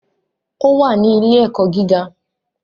O wá ní ile-ẹkọ gíga